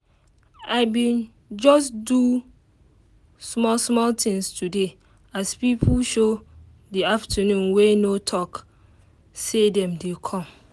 as she sleep and time don um go she um just tie scarf um rush comot.